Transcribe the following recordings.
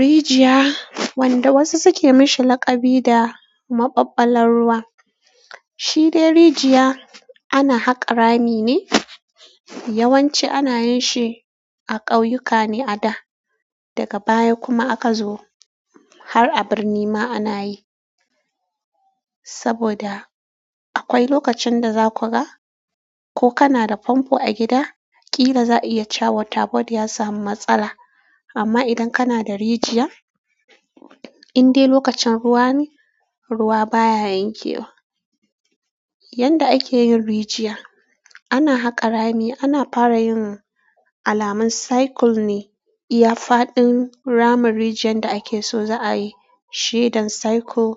Rijiya, wanda wasu suke mishi laƙabi da maɓaɓɓalar ruwa. Shi dai rijiya ana haka rami ne. Ya wanci ana yinshi a ƙauyuka ne ada daga baya kuma aka zo har a birni ma anayi saboda akwai lokacin da za ku ga, ko kana da famfo a gida, ƙila za a iya cawa water board ya samu matsala. Amma idan kana da rijiya, in dai lokacin ruwa ne, ruwa baya yanke wa. Yanda ake yin rijiya, ana haka rami, ana fara yin alamun cycle ne. Iya faɗin ramin rijiyan da ake so za a yi, shaidan cycle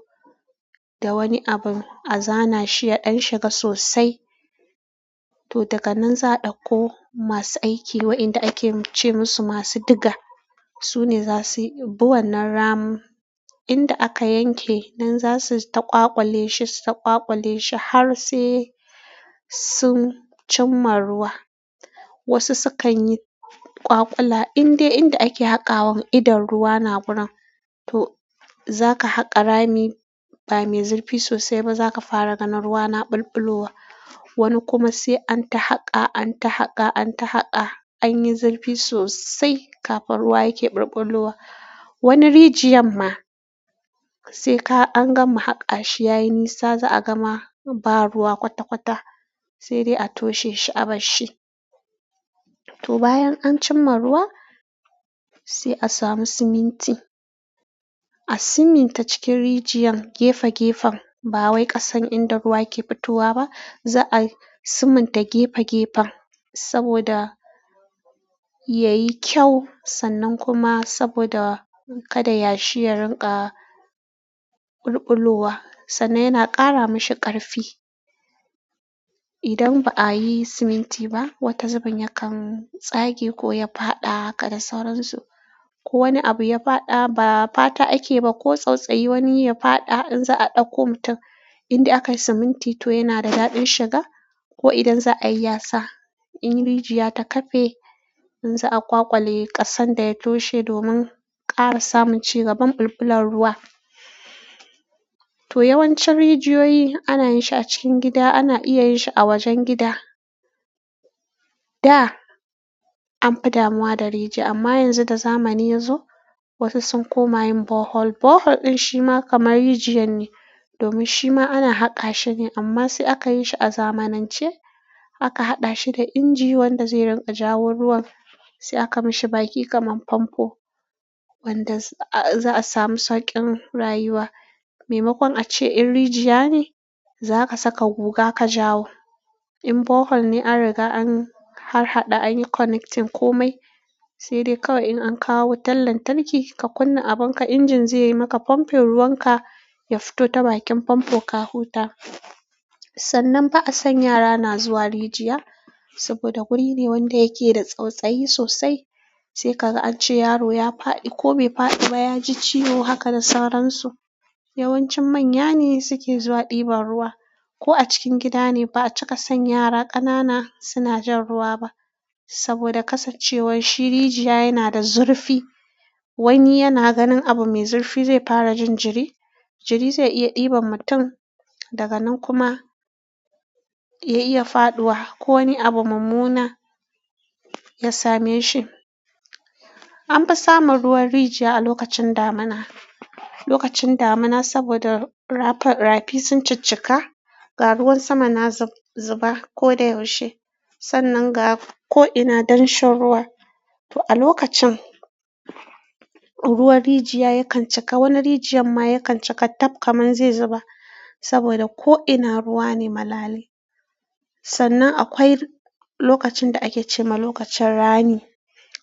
da wani abin a zana shi, ya ɗan shiga sosai. To daga nan za a ɗauko masu aiki, wa'inda ake ce masu masu diga. Su ne za su yi bu wannan ramun. Inda aka yanke nan za su ta ƙwaƙwale shi, su ta ƙwaƙwale shi har sai sun cimma ruwa. Wasu sukan yi kwakwala, in dai inda ake haƙawan idon ruwa na gurin, to zaka haƙa rami ba mai zurfi sosai ba, za ka fara ganin ruwa na bulbulowa. Wani kuma sai an ta haƙa, an ta haƙa, an ta haƙa, anyi zurfi sosai kafin ruwa yake bulbulowa. Wani rijiyan ma sai ka an gama haƙa shi, yayi nisa za a gama ba ruwa kwata-kwata, sai dai a toshe shi, a bar shi. To bayan an cimma ruwa, sai a samu siminti. A siminta cikin rijiyar, gefe-gefen. Ba wai ƙasan inda ruwa ke fitowa ba, za a siminta gefe-gefen saboda yayi kyau, sannan kuma saboda kada yashi ya rinƙa bulbulowa, sannan yana ƙara mashi ƙarfi. Idan ba a yi siminti ba, wata zubin yakan tsage ko ya faɗa, haka da sauransu. Ko wani abu ya faɗa, ba fata ake ba, ko tsautsayi wani ya faɗa, in za a ɗauko mutum. Inda aka yi siminti to yana da daɗin shiga, ko idan za a yi yasa. In rijiya ta kafe, in za a ƙwaƙwale ƙasan da ya toshe domin ƙara samun cigaban bulbulan ruwa. To yawancin rijiyoyi ana yin shi a cikin gida, ana iya yin shi a wajen gida. Da an fi damuwa da rijiya, amma yanzu da zamani ya zo, wasu sun koma yin bohol. Bohol ɗin shi ma kamar rijiyar ne, domin shi ma ana haƙa shi ne, amma sai aka yi shi a zamanance. Aka haɗa shi da inji wanda zai rinƙa jawo ruwan, sai aka mashi baki kamar famfo wanda za a samu sauƙin rayuwa. Maimakon a ce in rijiya ne, za ka saka guga ka jawo. In bohol ne, an riga an harhaɗa, an yi connecting komai. Sai dai kawai in an kawo wutan lantarki, ka kunna abin ka, injin zai yi maka, pumping ruwan ka ya fito ta bakin famfo ka huta. Sannan ba a san yara na zuwa rijiya, saboda guri ne wanda yake da tsautsayi sosai. Sai ka ga an ce yaro ya faɗi ko bai faɗi ba, ya ji ciwo haka da sauransu. Yawancin manya ne suke zuwa ɗiban ruwa. Ko a cikin gida ne, ba a cika san yara ƙanana suna jan ruwa ba. Saboda kasancewan shi rijiya yana da zurfi. Wani yana ganin abu mai zurfi zai fara jin jiri. Jiri zai iya ɗiban mutum, daga nan kuma ya iya faɗuwa ko wani abu mummuna ya same shi. Amfi samun ruwan rijiya a lokacin damuna lokacin damuna saboda rafi sun cikkika, ga ruwan sama na zub zuba ko da yaushe. Sannan ga ko'ina damshe ruwa. To a lokacin, ruwan rijiya yakan cika, wani rijiyar ma yakan cika tap kaman zai zuba. Saboda ko'ina ruwa ne malale. Sannan akwai lokacin da ake ce ma lokacin rani.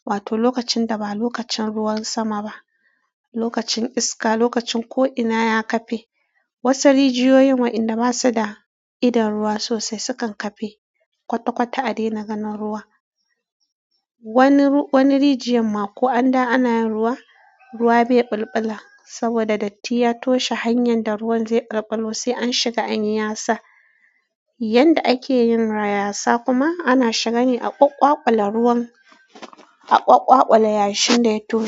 Wato lokacin da ba lokacin ruwan sama ba. Lokacin iska, lokacin ko'ina ya kafe. Wasu rijiyoyin wa' inda basu da idon ruwa sosai sukan kafe. Kwata-kwata a daina ganin ruwa wani rijiyarma ko an dawo ma ana yin ruwa, ruwa bai ɓulɓula saboda datti ya toshe hanyar da ruwan zai ɓulɓula yanda ake yin ra yasa kuma, ana shiga ne a ƙwaƙƙwaƙula ruwan, a ƙwaƙƙwaƙula yashin da ya toshe.